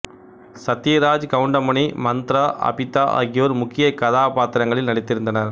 சத்யராஜ் கவுண்டமணி மந்த்ரா அபிதா ஆகியோர் முக்கிய கதாபாத்திரங்களில் நடித்திருந்தனர்